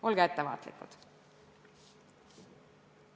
Olge ettevaatlikud!